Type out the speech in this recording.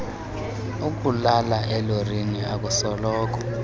ukulala elorini akusoloko